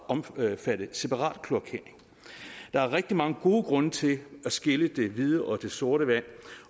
omfatte separat kloakering der er rigtig mange gode grunde til at skille det hvide og det sorte vand